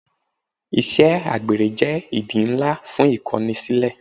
Ìṣe àgbèrè jẹ́ ìdí ńlá fún Ìkọnisílẹ́.